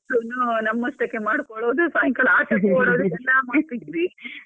ನಮ್ಮಷ್ಟಕ್ಕೆ ಮಾಡಿಕೊಳ್ಳೋದು ಸಾಯಂಕಾಲ ಆಟಾಡ್ಕೊಳೋದು ಎಲ್ಲಾ .